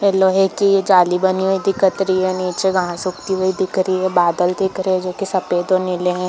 ये लोहे की जाली बनी हुईं दिखत रही है नीचे घास उगती हुई दिख रही है बादल दिख रहे है जो की सफ़ेद और नीले है।